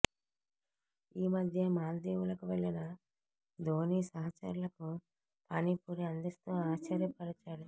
ఈ మధ్యే మాల్దీవులకు వెళ్లిన ధోనీ సహచరులకు పానీపూరీ అందిస్తూ ఆశ్చర్యపరిచాడు